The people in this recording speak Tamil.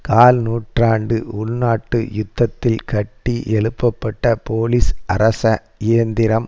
கால் நூற்றாண்டு உள்நாட்டு யுத்தத்தில் கட்டி எழுப்பப்பட்ட போலிஸ்அரச இயந்திரம்